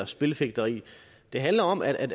spilfægteri det handler om at